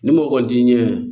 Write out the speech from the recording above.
Ni mɔgɔ kɔni t'i ɲɛ